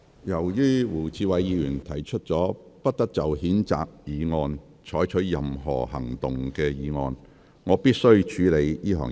由於胡志偉議員提出了不得就譴責議案再採取任何行動的議案，我必須先處理這項議案。